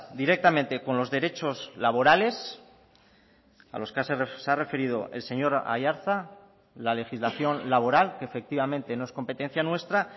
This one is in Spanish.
directamente con los derechos laborales a los que se ha referido el señor aiartza la legislación laboral que efectivamente no es competencia nuestra